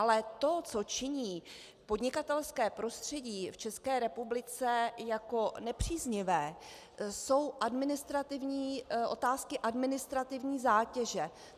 Ale to, co činí podnikatelské prostředí v České republice jako nepříznivé, jsou otázky administrativní zátěže.